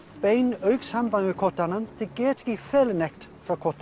beinu augnsambandi við hvert annað þau geta ekki falið neitt hvert